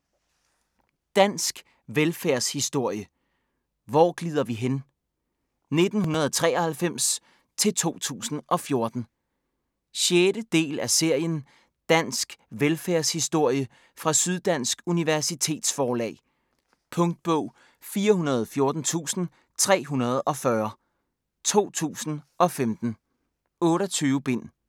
Dansk velfærdshistorie: Hvor glider vi hen?: 1993-2014 6. del af serien Dansk velfærdshistorie fra Syddansk Universitetsforlag. Punktbog 414340 2015. 28 bind.